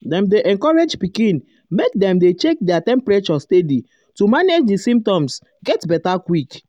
dem dey encourage pikin make pikin make dem dey check their temperature steady to manage di symptoms get beta quick.